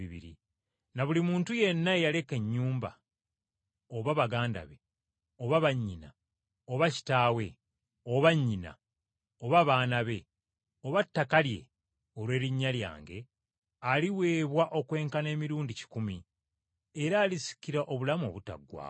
Na buli muntu yenna eyaleka ennyumba, oba baganda be, oba bannyina, oba kitaawe oba nnyina, oba baana be, oba ttaka lye olw’erinnya lyange aliweebwa okwenkana emirundi kikumi, era alisikira obulamu obutaggwaawo.